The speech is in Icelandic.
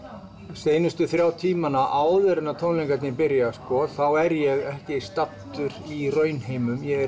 síðustu þrjá tímana áður en að tónleikarnir byrja er ég ekki staddur í raunheimum ég er